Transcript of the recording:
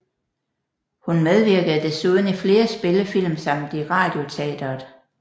Hun medvirkede desuden i flere spillefilm samt i Radioteatret